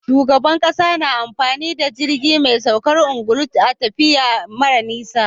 Shugaban ƙasa na amfani da jirgi me saukar angulu a tafiya mara nisa